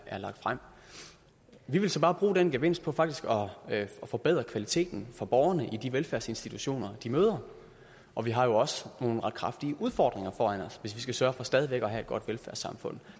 er lagt frem vi vil så bare bruge den gevinst på faktisk at forbedre kvaliteten for borgerne i de velfærdsinstitutioner de møder og vi har jo også nogle ret kraftige udfordringer foran os hvis vi skal sørge for stadig væk at have et godt velfærdssamfund